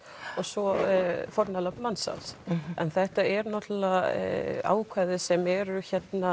og svo fórnarlömb mansal þetta er ákvæði sem eru